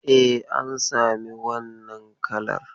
E, an sami wannan kalar.